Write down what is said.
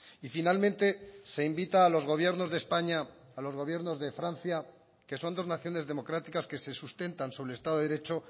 y finalmente se invita a los gobiernos de españa a los gobiernos de francia que son dos naciones democráticas que se sustentan sobre el estado de derecho